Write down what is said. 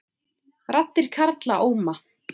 Raddir karla óma